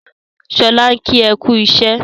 Sọlá ń kí ẹ kú iṣẹ́.